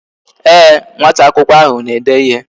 Ee, nwata akwụkwọ ahụ na-ede ịhe